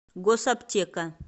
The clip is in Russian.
госаптека